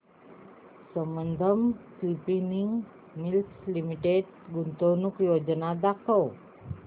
Sambandam spinning mills limited गुंतवणूक योजना दाखव